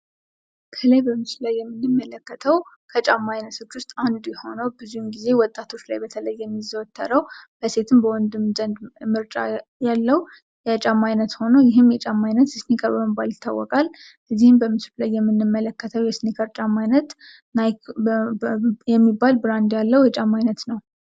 ይሄ በምስሉ ላይ የምንመለከተው ከጫማ አይነቶች ውስጥ አንዱ የሆነው ብዙውን ጊዜ ወጣቶች ላይ በተለይ የሚዘወተረው በሴትም በወንድም ዘንድ ምርጫ ያለው የጫማ አይነት ሆኖ ይህም የጫማ አይነት እስኒከር በመባል ይታወቃል። እዚም በምስሉ ላይ የምንመለከተው የእስኒከር ጫማ አይነት ናይክ የሚባል ብራንድ ያለው የጫማ አይነት ነው።